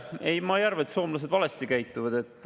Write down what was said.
Ei, ma ei arva, et soomlased valesti käituvad.